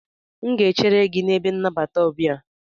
M ga-echere gị na ebe nnabata ọbia.